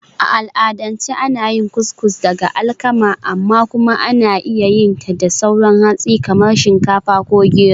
A al'adance ana yin Couscous daga alkama, amma kuma ana iya yin ta da sauran hatsi kamar shinkafa ko gero.